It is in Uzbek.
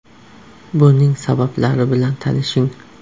Buning sabablari bilan tanishing.